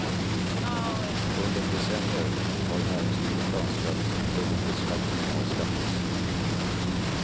Under decennier har näringslivet önskat att dubbelbeskattningen avskaffas.